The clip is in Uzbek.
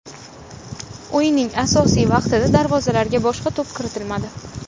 O‘yinning asosiy vaqtida darvozalarga boshga to‘p kiritilmadi.